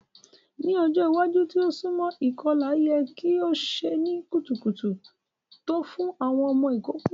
Ni ọjọ iwaju ti o sunmọ, ikọla yẹ ki o ṣe ni kutukutu to fun awọn ọmọ ikoko.